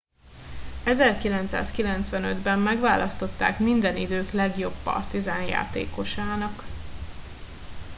1995 ben megválasztották minden idők legjobb partizan játékosának